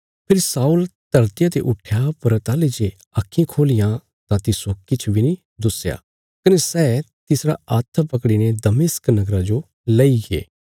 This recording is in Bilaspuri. फेरी शाऊल धरतिया ते उट्ठया पर ताहली जे आक्खीं खोलियां तां तिस्सो किछ बी नीं दुस्या कने सै तिसरा हाथ पकड़ीने दमिश्क नगरा जो लईगे